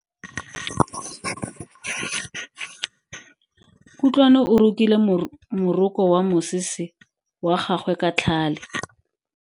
Kutlwano o rokile moroko wa mosese wa gagwe ka tlhale.